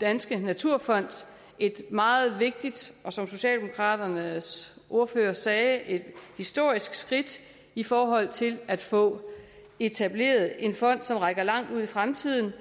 danske naturfond et meget vigtigt og som socialdemokraternes ordfører sagde et historisk skridt i forhold til at få etableret en fond som rækker langt ud i fremtiden